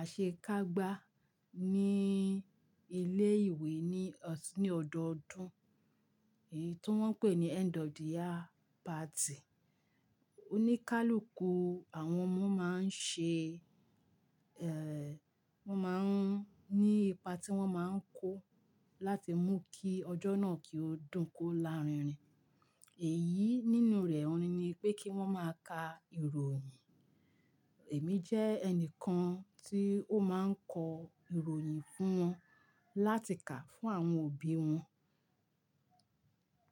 àṣekágbá ní ilé ìwé ní, ní ọdọọdún, èyí tó wọ́n ń pè ní end of the year party. Oníkálukú àwọn ọmọ máa ń ṣe, ẹ, wọ́n máa ń ní ipa tí wọ́n máa ń kó láti mú kí ọjọ́ náà kí ó dùn kó larinrin. Èyí nínú rẹ̀ oni nipé kí wọ́n máa ka ìròyìn. Èmi jẹ́ ẹni kan tí ó máa ń kọ ìròyìn fún wọn láti kà fún àwọn òbí wọn.